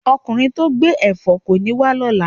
Okunrin to gbe èfó koni wa lola